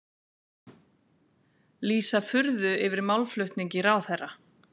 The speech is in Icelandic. Lýsa furðu yfir málflutningi ráðherra